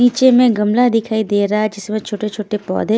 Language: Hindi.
नीचे में गमला दिखाई दे रहा है जिसमें छोटे छोटे पौधे --